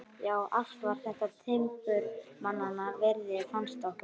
Já, allt var þetta timburmannanna virði, fannst okkur.